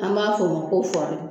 An b'a fɔ o ma ko